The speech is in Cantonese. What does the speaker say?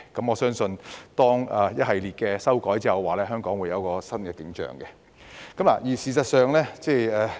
我相信當一系列的修例工作完成後，香港會有一番新景象。